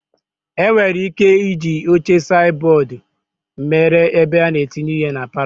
E nwere ị́ké ịji oche saidi bọọdu mere ebe a na-etinye ihe na palọ.